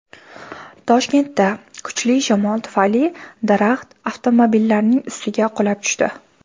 Toshkentda kuchli shamol tufayli daraxt avtomobilnining ustiga qulab tushdi .